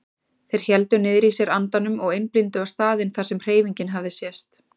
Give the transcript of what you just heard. Þeir héldu niðri í sér andanum og einblíndu á staðinn þar sem hreyfingin hafði sést.